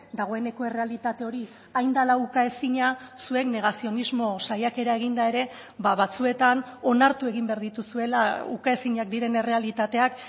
dagoeneko errealitate hori hain dela ukaezina zuek negazionismo saiakera eginda ere batzuetan onartu egin behar dituzuela ukaezinak diren errealitateak